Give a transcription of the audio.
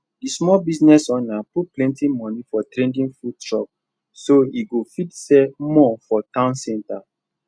the small business owner put plenty money for trendy food truck so e go fit sell more for town center